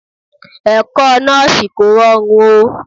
Ẹ̀kọ́ Nọ́ọ́sì kò rọrùn o.